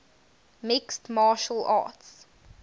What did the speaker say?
mixed martial arts